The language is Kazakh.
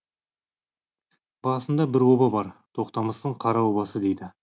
басында бір оба бар тоқтамыстың қара обасы дейді